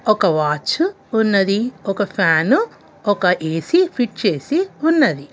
ఒక వాచ్చు ఉన్నది. ఒక ఫ్యాను ఒక ఏ_సి ఫిట్ చేసి ఉన్నది.